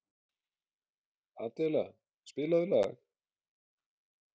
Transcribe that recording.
Adela, spilaðu lag.